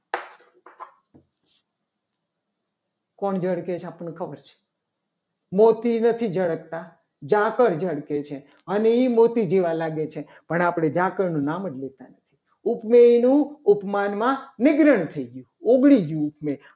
આપણને ખબર છે. મોતી નથી જળકતા ઝાકળ ઝડપે છે. અને એ મોતી જેવા લાગે છે. પણ આપણે ઝાકળનું નામ જ લેતા નથી. ઉપમેયનું ઉપમાન નિગ્રહ થઈ ગયું ઓગળી ગયું.